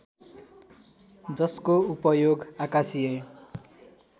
जसको उपयोग आकाशीय